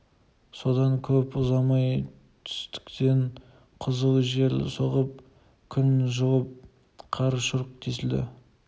содан көп ұзамай түстіктен қызыл жел соғып күн жылып қар шұрқ тесілді